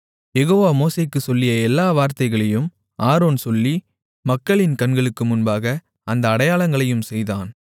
யெகோவா மோசேக்குச் சொல்லிய எல்லா வார்த்தைகளையும் ஆரோன் சொல்லி மக்களின் கண்களுக்கு முன்பாக அந்த அடையாளங்களையும் செய்தான்